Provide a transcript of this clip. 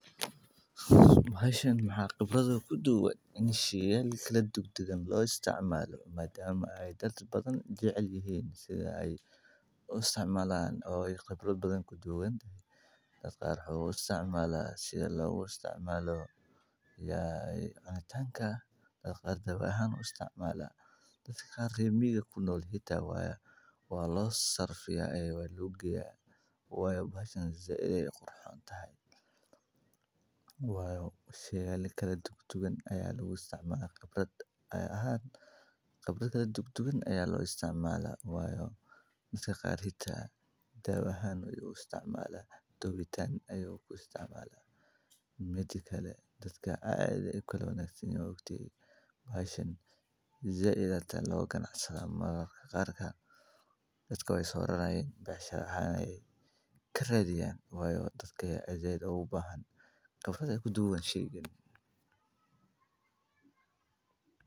Bahashan maxa qibrad oo kudugan in shayal badan loo isticmalo madama dad badan ay jecel yihin Dadka waxay u qaxaan meelo kale si ay u helaan gargaar, taasoo sababi karta isbeddel nololeed iyo dhibaatooyin kale oo bulsho. Si loo yareeyo saameynta abaarta, waxaa muhiim ah in la sameeyo ceelal biyood, keyd raashin, iyo qorshe gurmad oo degdeg ah. Abaarta oo loo daran waa masiibo u baahan feejignaan, wada shaqeyn, iyo taageero joogto ah.